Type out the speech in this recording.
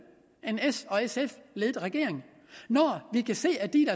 en s sf ledet regering og når vi kan se at de